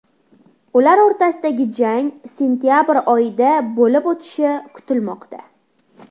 Ular o‘rtasidagi jang sentabr oyida bo‘lib o‘tishi kutilmoqda.